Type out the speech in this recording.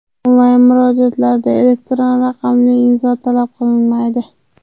Onlayn murojaatlarda elektron raqamli imzo talab qilinmaydi.